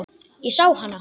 Ég sá hana.